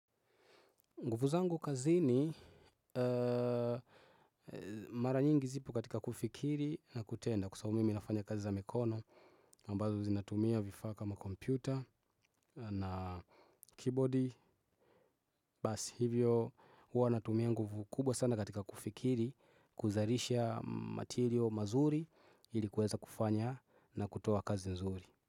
Nguvu zangu kazini mara nyingi zipokatika kufikiri na kutenda kwa sababu mimi nafanya kazi za mikono ambazo zinatumia vifaa kama kompyuta na kibodi bas hivyo ua natumia nguvu kubwa sana katika kufikiri kuzarisha material mazuri ilikuweza kufanya na kutoa kazi nzuri.